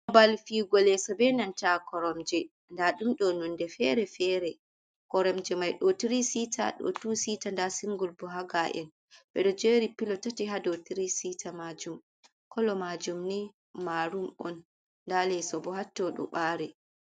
Babal viwugo lesso benanta koromje nda ɗum ɗo nunde fere fere, koromje mai ɗo tiri sita ɗo tow sita nda singul bo haga’en ɓeɗo jeri pilo tati ha dow tiri cita majum, kolo majum ni marum on nda leso bo hatto ɗo bari.